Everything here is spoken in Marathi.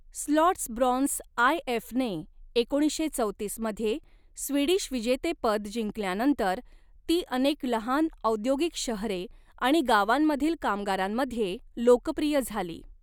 स्लॉट्सब्रॉन्स आय. एफने एकोणीसशे चौतीस मध्ये स्वीडिश विजेतेपद जिंकल्यानंतर, ती अनेक लहान औद्योगिक शहरे आणि गावांमधील कामगारांमध्ये लोकप्रिय झाली.